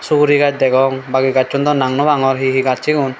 sugurigaz degong bagi gazsun daw nang naw pangor hi hi gaz sigun.